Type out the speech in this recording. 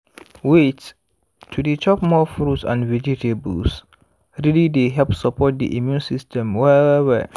wait to dey chop more fruits and vegetables really dey help support the immune system well-well